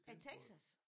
I Texas?